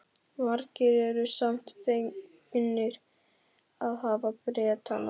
Margir eru samt fegnir að hafa Bretana.